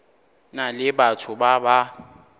na le batho ba ba